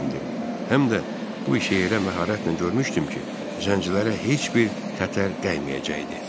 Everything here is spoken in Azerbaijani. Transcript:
Həm də bu işi elə məharətlə görmüşdüm ki, zəncilərə heç bir xətər dəyməyəcəkdi.